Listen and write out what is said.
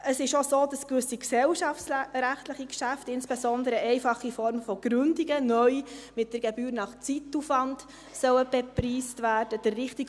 Es ist auch so, dass gewisse gesellschaftsrechtliche Geschäfte, insbesondere einfache Formen von Gründungen, neu mit der Gebühr nach Zeitaufwand «bepreist» werden sollen.